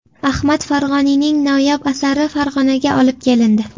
Ahmad Farg‘oniyning noyob asari Farg‘onaga olib kelindi.